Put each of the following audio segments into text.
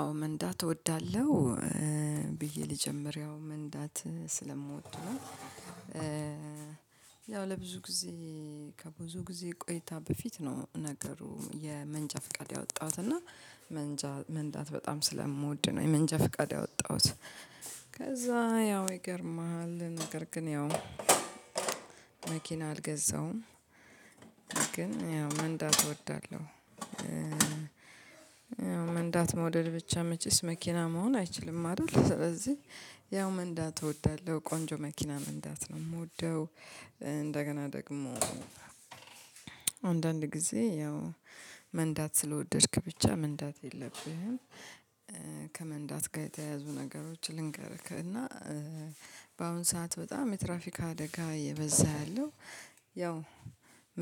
አዎ መንዳት እወዳለሁ ብዬ ልጀምር ያው መንዳት ስለምወድ ነው። ያው ለብዙ ጊዜ ከብዙ ጊዜ ቆይታ በፊት ነው ነገሩ የመንጃ ፍቃድ ያወጣሁት እና መንጃ መንዳት በጣም ስለምወድ ነው የመንጃ ፍቃድ ያወጣሁት። ከዛ ያው ይገርማል ነገር ግን ያው መኪና አልገዛውም ግን ያው መንዳት እወዳለሁ። ያው መንዳት መውደድ ብቻ መቼስ መኪና መሆን አይችልም አይደል ስለዚህ ያው መንዳት እወዳለሁ ቆንጆ መኪና መንዳት ነው የምወደው። እንደገና ደግሞ አንዳንድ ጊዜ ያው መንዳት ስለወደድክ ብቻ መንዳት የለብህም ከመንዳት ጋር የተያዙ ነገሮች ልንገርክ እና በአሁን ሰዓት በጣም የትራፊካ አደጋ የበዛ ያለው ያው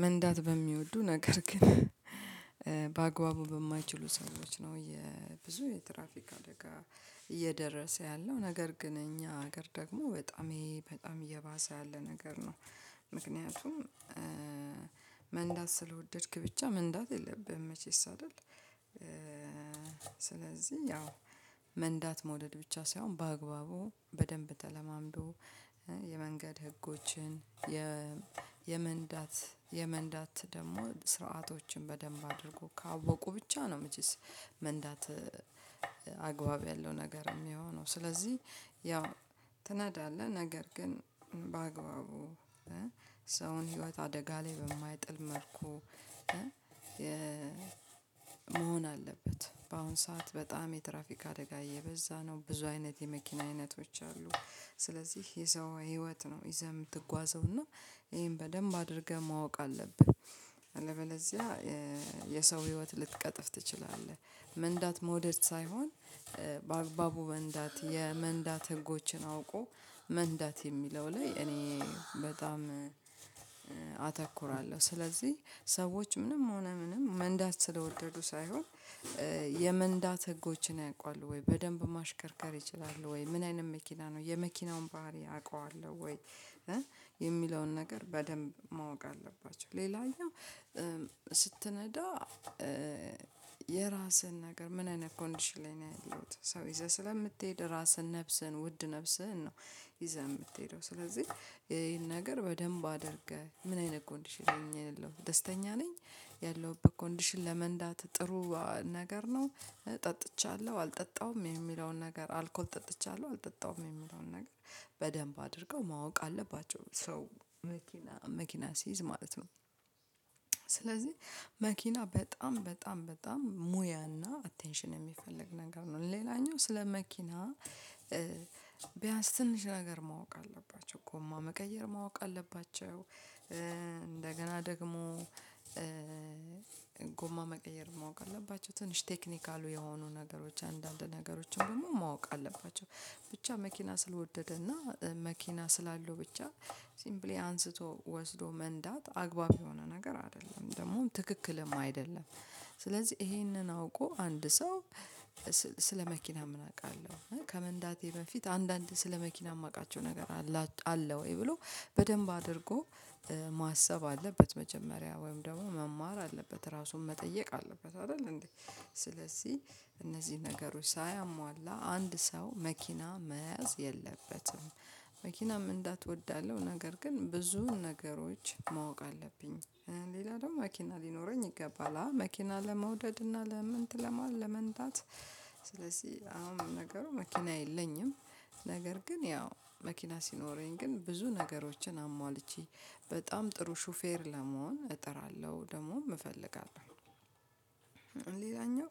መንዳት በሚወዱ ነገር ግን በአግባቡ በማይችሉ ሰዎች ነው። የትራፊክ አደጋ እየደረሰ ያለው ነገር ግን እኛ ሀገር ደግሞ በጣም ይሄ በጣም እየባሰ ያለ ነገር ነው። ምክንያቱም መንዳት ስለወደድክ ብቻ መንዳት የለብህም መቼስ አይደል ስለዚህ ያው መንዳት መውደድ ብቻ ሳይሆን በአግባቡ በደንብ ተለማምዶ የመንገድ ህጎችን የመንዳት የመንዳት ደግሞ ስርዓቶችን በደንብ አድርጎ ካወቁ ብቻ ነው መቼስ መንዳት። አግባብ ያለው ነገር የሚሆነው ስለዚህ ያው ትናዳለህ ነገር ግን በአግባቡ ሰውን ህይወት አደጋ ላይ በማይጥል መልኩ መሆን አለበት በአሁን ሰዓት በጣም የትራፊክ አደጋ እየበዛ ነው ብዙ አይነት የመኪና አይነቶች አሉ። ስለዚህ የሰው ህይወት ነው ይዘህ የምትጓዘው እና ይሄን በደንብ አድርገህ ማወቅ አለብህ። አለበለዚያ የሰው ህይወት ልትቀጥፍ ትችላለህ። መንዳት መውደድ ሳይሆን በአግባቡ መንዳት የመንዳት ህጎችን አውቆ መንዳት የሚለው ላይ እኔ በጣም አተኩራለሁ። ስለዚህ ሰዎች ምንም ሆነ ምንም መንዳት ስለወደዱ ሳይሆን የመንዳት ህጎችን ያውቃሉ ወይ በደንብ ማሽከርከር ይችላሉ ወይ ምን አይነት መኪና ነው የመኪናውን ባህሪ አውቃለሁ ወይ የሚለውን ነገር በደንብ ማወቅ አለባቸው። ሌላኛው ስትነዳ የራስህን ነገር ምን አይነት ኮንዲሽን ላይ ነው ያለሁት ሰው ይዘህ ስለምትሄድ ራስህን ነፍስህን ውድ ነፍስህን ነው። ይዘህ የምትሄደው ስለዚህ ይሄን ነገር በደንብ አድርገህ ምን አይነት ኮንዲሽን ለይ ነው ያለሁት ደስተኛ ነኝ ያለውበት ኮንዲሽን ለመንዳት ጥሩ ነገር ነው። ጠጥቻለሁ አልጠጣም የሚለውን ነገር አልኮል ጠጥቻለሁ አልጠጣም የምለውን ነገር በደንብ አድርገው ማወቅ አለባቸው ሰው መኪና መኪና ሲይዝ ማለት ነው። ስለዚህ መኪና በጣም በጣም በጣም ሙያና አቴንሽን የሚፈልግ ነገር ነው ሌላኛው ስለ መኪና ቢያንስ ትንሽ ነገር ማወቅ አለባቸው እኮ ጎማ መቀየር ማወቅ አለባቸው እንደገና ደግሞ ጎማ መቀየር ማወቅ አለባቸው ትንሽ ቴክኒካሉ የሆኑ ነገሮች አንዳንድ ነገሮችን ደግሞ ማወቅ አለባቸው። ብቻ መኪና ስለወደደና መኪና ስላለው ብቻ ሲምፕሊ አንስቶ ወስዶ መንዳት አግባብ የሆነ ነገር አይደለም ደግሞም ትክክልም አይደለም። ስለዚህ ይሄንን አውቆ አንድ ሰው ስለ መኪና ምን አውቃለሁ ከመንዳቴ በፊት አንዳንድ ስለ መኪና የማውቃቸው ነገር አለ ወይ ብሎ በደንብ አድርጎ ማሰብ አለበት። መጀመሪያ ወይም ደግሞ መማር አለበት ራሱን መጠየቅ አለበት። አይደል እንዴ ስለዚህ እነዚህ ነገሮች ሳያሟላ አንድ ሰው መኪና መያዝ የለበትም። መኪና መንዳት እወዳለው ነገር ግን ብዙ ነገሮች ማወቅ አለብኝ። ሌላ ደግሞ መኪና ሊኖረኝ ይገባል መኪና ለመውደድ እና ለመንት ለመንዳት ስለዚህ አሁን ነገሩ መኪና የለኝም ነገር ግን ያው መኪና ሲኖረኝ ግን ብዙ ነገሮችን አሟልቼ በጣም ጥሩ ሹፌር ለመሆን እጥራለሁ ደግሞ እፈልጋለሁ። ሌላኛው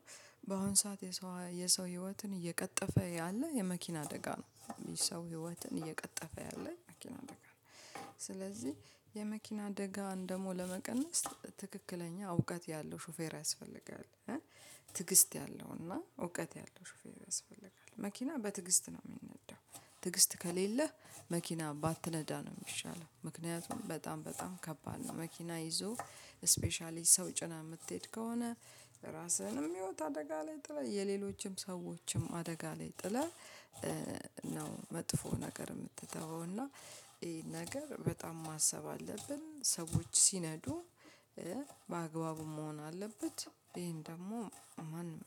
በአሁን ሰዓት የሰው የሰው ህይወትን እየቀጠፈ ያለ የመኪና አደጋ ነው ይህ ሰው ህይወትን እየቀጠፈ ያለ መኪና አደጋ ነው። ስለዚህ የመኪና አደጋን ደግሞ ለመቀነስ ትክክለኛ እውቀት ያለው ሹፌር ያስፈልጋል። ትግስት ያለውና እውቀት ያለው ሹፌር ያስፈልጋል። መኪና በትግስት ነው የሚነዳው ትግስት ከሌለህ መኪና ባትነዳ ነው የሚሻለው። ምክንያቱም በጣም በጣም ከባድ ነው መኪና ይዞ ስፔሻሊ ሰው ጭና የምትሄድ ከሆነ ራስህንም ህይወት አደጋ ላይ ጥለህ የሌሎችም ሰዎችም አደጋ ላይ ጥለህ ነው መጥፎ ነገር። የምትተወው እና ይሄ ነገር በጣም ማሰብ አለብን ሰዎች ሲነዱ ባግባቡ መሆን አለበት። ይሄን ደግሞ ማንም